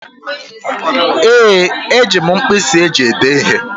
Ee, eji m mkpịsị eji èdé ihe.